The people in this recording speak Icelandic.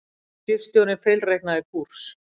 Skipstjórinn feilreiknaði kúrs